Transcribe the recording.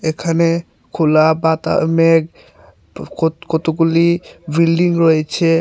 ওখানে খোলা বাতা মেঘ কত কতগুলি বিল্ডিং রয়েছে।